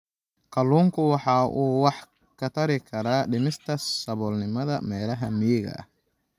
Kalluunku waxa uu wax ka tari karaa dhimista saboolnimada meelaha miyiga ah.